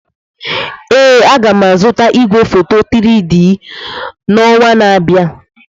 Ee, m ga-azụta igwefoto 3-D na ọnwa na-abịa.